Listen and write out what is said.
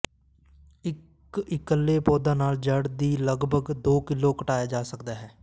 ਇੱਕ ਇੱਕਲੇ ਪੌਦਾ ਨਾਲ ਜੜ੍ਹ ਦੀ ਲਗਭਗ ਦੋ ਕਿਲੋ ਘਟਾਇਆ ਜਾ ਸਕਦਾ ਹੈ